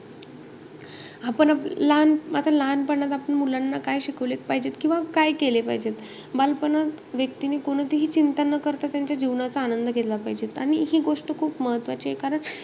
आपण आता लहान~ आता लहानपणात मुलांना आपण काय शिकवले पाहिजेत, किंवा काय केले पाहिजेत? बालपणात व्यक्तीने कोणतीही चिंता न करता त्यांच्या जीवनाचा आनंद घेतला पाहिजेत. आणि हि गोष्ट खूप महत्वाची आहे कारण,